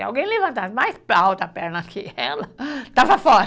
Se alguém levantasse mais alta a perna que ela, estava fora.